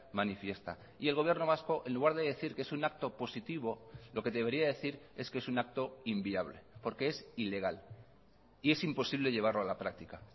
manifiesta y el gobierno vasco en lugar de decir que es un acto positivo lo que debería decir es que es un acto inviable porque es ilegal y es imposible llevarlo a la práctica